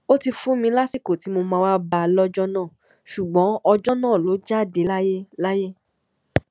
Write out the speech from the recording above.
ó ti fún mi lásìkò tí mo máa wáá bá a lọjọ náà ṣùgbọn ọjọ náà ló jáde láyé láyé